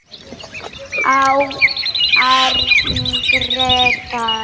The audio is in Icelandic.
Árni Grétar.